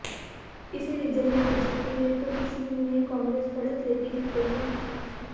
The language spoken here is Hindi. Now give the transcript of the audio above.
किसी रीजन में बीजेपी में तो किसी में काग्रेस बढ़त लेती दिख रही है